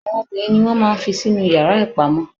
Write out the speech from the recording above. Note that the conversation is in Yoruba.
Àwọn obìnrin ni wọn máà ń fí sí inú yara ipamọ.